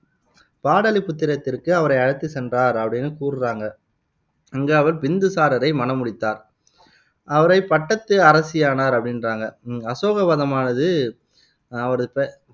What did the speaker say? பாடலிபுத்திரத்திற்கு அவரை அழைத்துச் சென்றார் அப்படின்னு கூறுறாங்க. அங்கு அவர் பிந்துசாரரை மணம் முடித்தார். அவரை பட்டத்து அரசியானார் அப்படின்றாங்க அசோகவதனமானது அவரது பெ